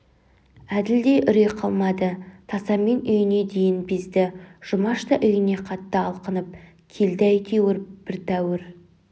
әділде үрей қалмады тасамен үйіне дейін безді жұмаш та үйіне қатты алқынып келді әйтеуір бір тәуір